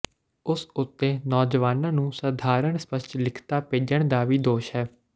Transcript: ਉਸ ਉੱਤੇ ਨੌਜਵਾਨਾਂ ਨੂੰ ਸਧਾਰਣ ਸਪੱਸ਼ਟ ਲਿਖਤਾਂ ਭੇਜਣ ਦਾ ਵੀ ਦੋਸ਼ ਹੈ